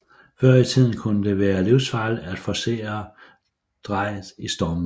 Før i tiden kunne det være livsfarligt at forcere Drejet i stormvejr